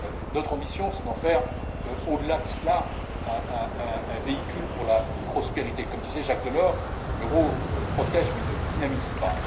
Notre ambition, c'est d'en faire, au delà de cela, un véhicule pour la prospérité. Comme disait Jacques Delors, l'euro protège mais ne dynamise